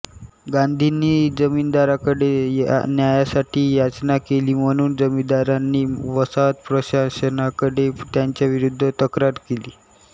गांधींनी जमीनदारांकडे न्यायासाठी याचना केली म्हणून जमीनदारांनी वसाहत प्रशासनाकडे त्यांच्याविरुद्ध तक्रार केली